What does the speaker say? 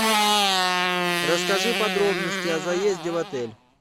расскажи подробности о заезде в отель